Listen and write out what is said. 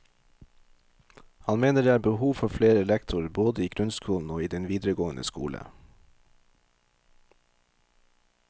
Han mener det er behov for flere lektorer både i grunnskolen og i den videregående skole.